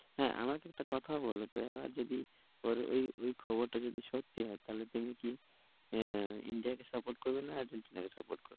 হ্যাঁ, আমাকে একটা কথা বলো তো এবার যদি, ওর এই এই খবরটা যদি সত্যি হয় তাহলে তুমি কি আহ India কে support করবে? না আর্জেন্টিনাকে support করবে?